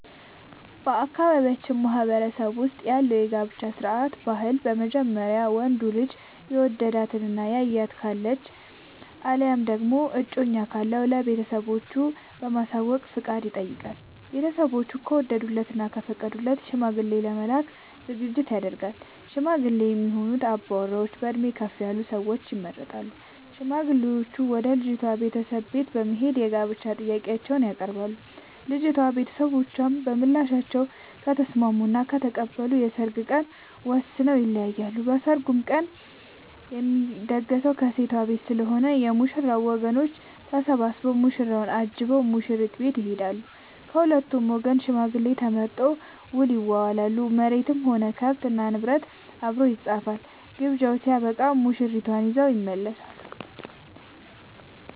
በአካባቢያችን ማህበረሰብ ውስጥ ያለው የጋብቻ ስርዓት/ ባህል በመጀመሪያ ወንዱ ልጅ የወደዳት እና ያያት ካለች አለያም ደግሞ እጮኛ ካለው ለቤተሰቦቹ በማሳወቅ ፍቃድ ይጠይቃል። ቤተስቦቹ ከወደዱለት እና ከፈቀዱለት ሽማግሌ ለመላክ ዝግጅት ይደረጋል። ሽማግሌ የሚሆኑ አባወራዎች በእድሜ ከፍ ያሉ ሰዎች ይመረጣሉ። ሽማግሌዎቹም ወደ ልጅቷ ቤተሰቦች በት በመሄድ የጋብቻ ጥያቄአቸውን ያቀርባሉ። የልጂቷ ቤተሰቦችም በምላሻቸው ከተስምስሙ እና ከተቀበሉ የሰርግ ቀን ወስነው ይለያያሉ። በሰርጉ ቀንም የሚደገሰው ከሴት ቤት ስለሆነ የ ሙሽራው ወገኖች ተሰብስቧ ሙሽራውን አጅበው ሙሽሪት ቤት ይሄዳሉ። ከሁለቱም ወገን ሽማግሌ ተመርጦ ውል ይዋዋላሉ መሬትም ሆነ ከብት እና ንብረት አብሮ ይፃፋል። ግብዣው ስበቃም ሙሽርትን ይዘው ይመለሳሉ።